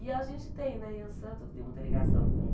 E a gente tem, né, Iansã tudo tem muita ligação com...